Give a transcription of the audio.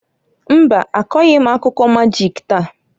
Mbaǃ Akọghị m akụkọ majịk taa.